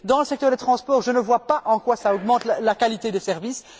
Dans le secteur des transports, je ne vois pas en quoi cela augmente la qualité des services.